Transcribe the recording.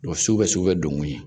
sugubɛ sugubɛ donkun ye